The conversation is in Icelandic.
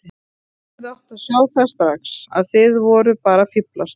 Ég hefði átt að sjá það strax að þið voruð bara að fíflast.